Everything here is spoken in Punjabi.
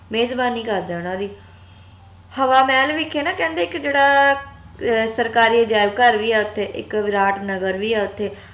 ਮੇਜ਼ਬਾਨੀ ਕਰਦੇ ਓਨਾ ਦੀ ਹਵਾ ਮਹਲ ਵਿਖੇ ਨਾ ਕਹਿੰਦੇ ਇਕ ਜੇਹੜਾ ਅਹ ਸਰਕਾਰੀ ਅਜਾਇਬ ਘਰ ਵੀ ਆ ਓਥੇ ਇਕ ਵਿਰਾਟ ਨਗਰ ਵੀ ਆ ਓਥੇ